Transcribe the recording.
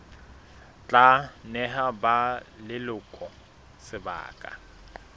tla neha ba leloko sebaka